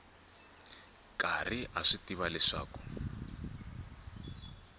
karhi a swi tiva leswaku